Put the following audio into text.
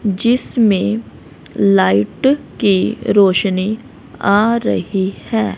जिसमें लाइट की रोशनी आ रही है।